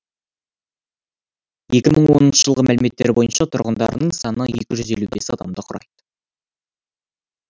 екі мың оныншы жылғы мәліметтер бойынша тұрғындарының саны екі жүз елу бес адамды құрайды